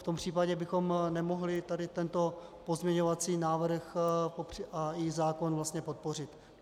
V tom případě bychom nemohli tady tento pozměňovací návrh a i zákon vlastně podpořit.